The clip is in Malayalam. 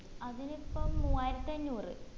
അതിനിപ്പം മൂയായിരത്തി അഞ്ഞൂറ്